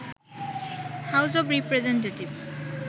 house of representative